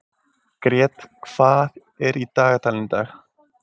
Grét, hvað er í dagatalinu í dag?